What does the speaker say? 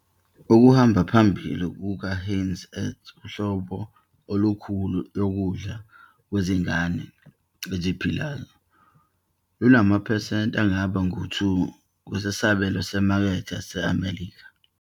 Okuhamba phambili kukaHeinz's Earth, uhlobo olukhulu lokudla kwezingane eziphilayo, lwalunamaphesenti angaba ngu-2 wesabelo semakethe yaseMelika.